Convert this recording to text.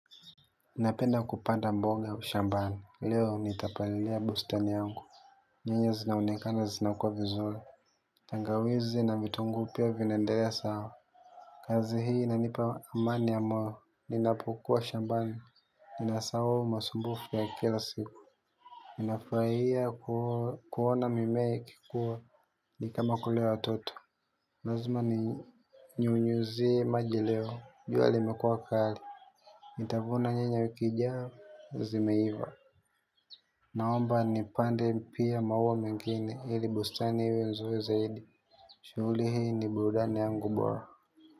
Napenda kupanda mboga shambani, leo nitapalilia bustani yangu. Nyanya zinaonekana zinakua vizuri. Tangawizi na vitungu pia vinaendelea sawa. Kazi hii inanipa amani ya moyo, ninapokua shambani. Ninasahau masumbufu ya kila siku ninafurahia kuona mimea ikikua. Ni kama kulea watoto lazima ninyunyuzie maji leo, jua limekua kali nitabuna nyanya wiki ijayo zimeiva. Naomba nipande pia maua mengine ili bustani iwe nzuri zaidi. Shughuli hii ni burudani yangu bora.